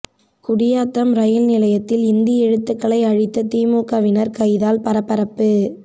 குடியாத்தம் ரயில் நிலையத்தில் இந்தி எழுத்துகளை அழித்த திமுகவினர் கைதால் பரபரப்பு